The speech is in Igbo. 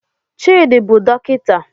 Chidi bụ dọkịta